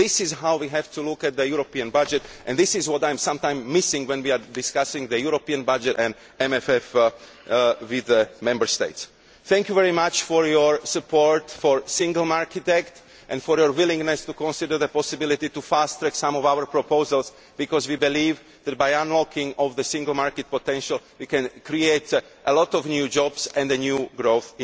This is how we have to look at the EU budget and this is what I am sometimes missing when we are discussing the EU budget and the MFF with Member States. Thank you very much for your support for the Single Market Act and for your willingness to consider the possibility of fast tracking some of our proposals because we believe that by unlocking the single market potential we can create a lot of new jobs and, indeed, new growth.